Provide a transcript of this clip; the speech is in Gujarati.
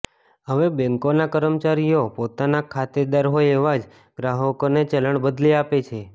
હવે બેંકોના કર્મચારીઓ પોતાના ખાતેદાર હોય એવાં જ ગ્રાહકોને ચલણ બદલી આપે છે